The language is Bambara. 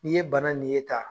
Ni ye bana nin ye tan